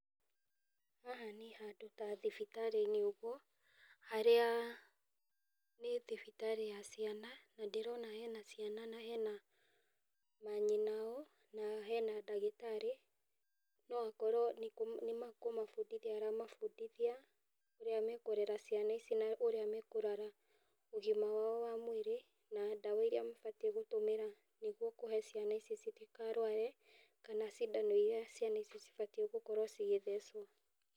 Haha nĩ handũ ta thibitarĩ-inĩ ũguo harĩa nĩ thibitarĩ ya ciana na ndĩrona hena ciana na hena manyina ao na hena ndagĩtarĩ, no akorwo nĩ nĩ kũmabundithia aramabundithia ũrĩa mekũrera ciana ici na ũrĩa mekũrora ũgima wao wa mwĩrĩ na ndawa iria mabatiĩ gũtũmĩra nĩguo kũhe ciana ici citikarware kana cindano iria ciana icio cibatiĩ gukorwo cigĩthecwo.